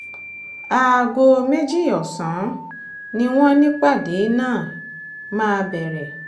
aago méjì ọ̀sán ni wọ́n nípàdé náà máa bẹ̀rẹ̀